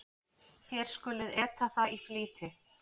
Þér skuluð eta það í flýti.